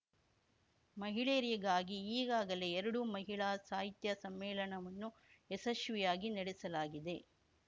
ಮಹಿಳೆಯರಿಗಾಗಿ ಈಗಾಗಲೇ ಎರಡು ಮಹಿಳಾ ಸಾಹಿತ್ಯ ಸಮ್ಮೇಳನವನ್ನು ಯಶಸ್ವಿಯಾಗಿ ನಡೆಸಲಾಗಿದೆ